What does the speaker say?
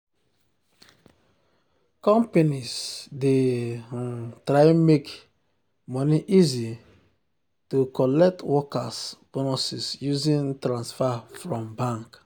companies dey um try make um money easy to um collect workers bonuses using transfer from bank